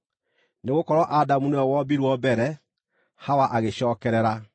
Nĩgũkorwo Adamu nĩwe wombirwo mbere, Hawa agĩcookerera.